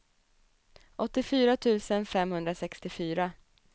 åttiofyra tusen femhundrasextiofyra